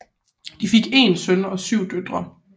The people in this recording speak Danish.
De fik én søn og syv døtre